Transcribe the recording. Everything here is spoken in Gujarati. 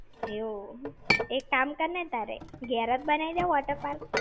એવું. એક કામ કરને તારે, ઘેર જ બનાઈ દે waterpark.